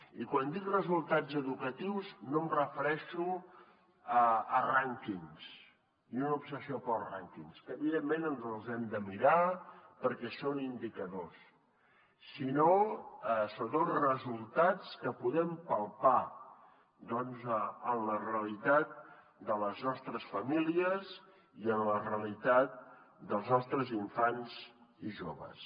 i quan dic resultats educatius no em refereixo a rànquings ni una obsessió pels rànquings que evidentment ens els hem de mirar perquè són indicadors sinó a sobretot resultats que podem palpar en la realitat de les nostres famílies i en la realitat dels nostres infants i joves